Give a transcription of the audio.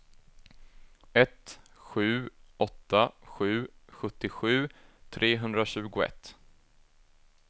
ett sju åtta sju sjuttiosju trehundratjugoett